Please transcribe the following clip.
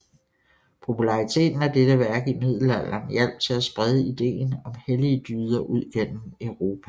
Populariteten af dette værk i middelalderen hjalp til at sprede ideen om hellige dyder ud gennem Europa